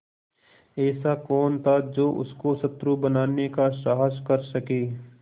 ऐसा कौन था जो उसको शत्रु बनाने का साहस कर सके